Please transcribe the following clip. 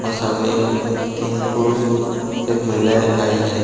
और सामने एक तीन पुरुष और एक महिलाएं आई है।